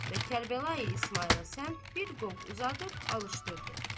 Və Kərbəlayı İsmayıla səmt bir qovq uzadıb alışdırdı.